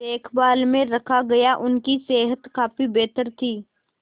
देखभाल में रखा गया उनकी सेहत काफी बेहतर थी